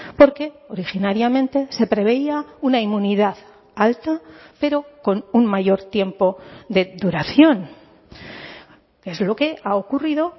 porque originariamente se preveía una inmunidad alta pero con un mayor tiempo de duración es lo que ha ocurrido